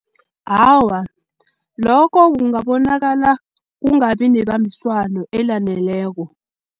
Awa, lokho kungabonakala kungabi nebambiswano elaneleko.